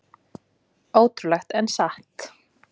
Ótrúlegt en satt